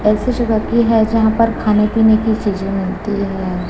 ऐसी जगह की है यहां पर खाने पीने की चीजें मिलती हैं।